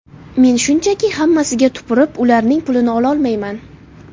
Men shunchaki, hammasiga tupurib, ularning pulini ololmayman.